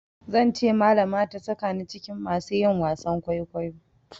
Zan ce malama ta sakani cikin masu yi wasan kwaikwayo.